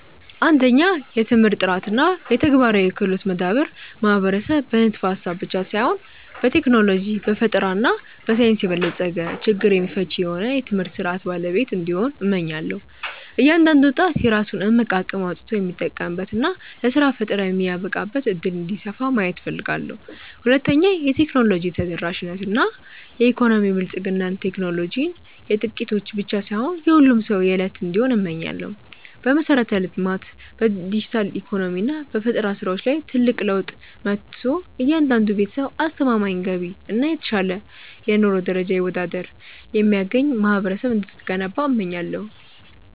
1. የትምህርት ጥራት እና የተግባራዊ ክህሎት መዳበር ማህበረሰብ በንድፈ-ሐሳብ ብቻ ሳይሆን በቴክኖሎጂ፣ በፈጠራ እና በሳይንስ የበለጸገ፣ ችግር ፈቺ የሆነ የትምህርት ሥርዓት ባለቤት እንዲሆን፣ እመኛለሁ። እያንዳንዱ ወጣት የራሱን እምቅ አቅም አውጥቶ የሚጠቀምበት እና ለሥራ ፈጠራ የሚበቃበት ዕድል እንዲሰፋ ማየት እፈልጋለሁ። 2. የቴክኖሎጂ ተደራሽነት እና የኢኮኖሚ ብልጽግና ቴክኖሎጂ የጥቂቶች ብቻ ሳይሆን የሁሉም ሰው የዕለት እንዲሆን እመኛለሁ። በመሠረተ-ልማት፣ በዲጂታል ኢኮኖሚ እና በፈጠራ ሥራዎች ላይ ትልቅ ለውጥ መጥቶ፣ እያንዳንዱ ቤተሰብ አስተማማኝ ገቢ እና የተሻለ የኑሮ ደረጃ ይወዳድር የሚያገኝ ማህበረሰብ እንድትገነባ እመኛለሁ።